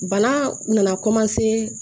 Bana u nana